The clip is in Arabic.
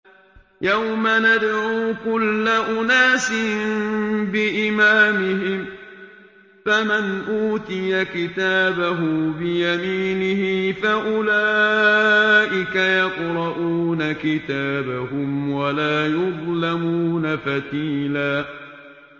يَوْمَ نَدْعُو كُلَّ أُنَاسٍ بِإِمَامِهِمْ ۖ فَمَنْ أُوتِيَ كِتَابَهُ بِيَمِينِهِ فَأُولَٰئِكَ يَقْرَءُونَ كِتَابَهُمْ وَلَا يُظْلَمُونَ فَتِيلًا